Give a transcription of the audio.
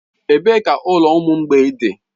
Ebee ka ụlọ ụmụ mgbei dị?